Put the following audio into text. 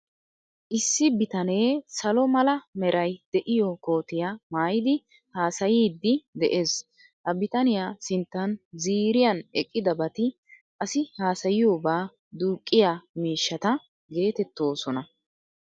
Issi bitanee salo mala meray de'iyoo kootiyaa maayidi haasayiiddi de'ees. Ha bitaniya sinttan ziiriyan eqqidabati Asi haasayiyobaa duuqqiyaa miishshata geetettoosona.